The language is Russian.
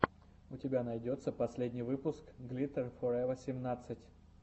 у тебя найдется последний выпуск глиттер форева семнадцать